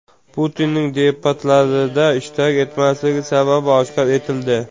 Putinning debatlarda ishtirok etmasligi sababi oshkor etildi.